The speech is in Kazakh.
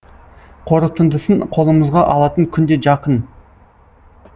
қорытындысын қолымызға алатын күн де жақын